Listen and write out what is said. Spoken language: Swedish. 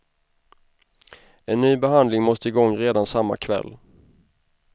En ny behandling måste igång redan samma kväll.